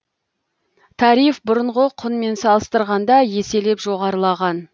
тариф бұрынғы құнмен салыстырғанда еселеп жоғарылаған